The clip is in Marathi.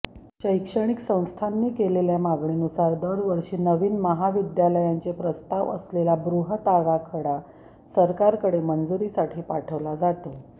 शैक्षणिक संस्थांनी केलेल्या मागणीनुसार दरवर्षी नवीन महाविद्यालयांचे प्रस्ताव असलेला बृहत् आराखडा सरकारकडे मंजुरीसाठी पाठवला जातो